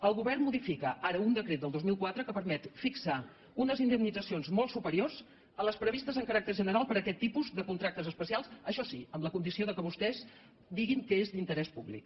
el govern modifica ara un decret del dos mil quatre que permet fixar unes indemnitzacions molt superiors a les previs·tes amb caràcter general per a aquest tipus de contractes especials això sí amb la condició que vostès diguin que és d’interès públic